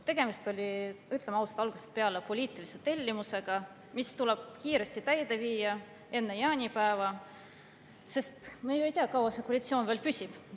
Tegemist oli, ütleme ausalt, algusest peale poliitilise tellimusega, mis tuleb kiiresti täide viia, enne jaanipäeva, sest me ju ei tea, kui kaua see koalitsioon veel püsib.